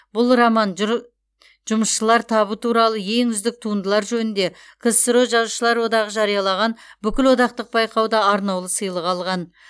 бұл роман жұр жұмысшылар табы туралы ең үздік туындылар жөнінде ксро жазушылар одағы жариялаған бүкілодақтық байқауда арнаулы сыйлық алған